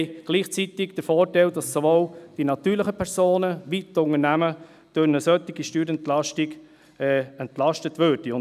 Gleichzeitig hätten wir den Vorteil, dass sowohl die natürlichen Personen als auch die Unternehmen durch eine solche Steuerentlastung entlastet würden.